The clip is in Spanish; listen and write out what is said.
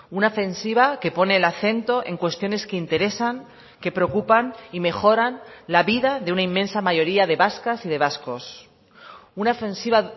una ofensiva que pone el acento en cuestiones que interesan que preocupan y mejoran la vida de una inmensa mayoría de vascas y de vascos una ofensiva